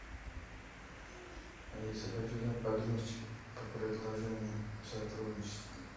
алиса хочу узнать подробности по предложении о сотрудничестве